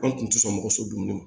An tun tɛ sɔn mɔgɔ so dun kɔ